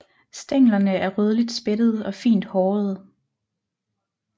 Stænglerne er rødligt spættede og fint hårede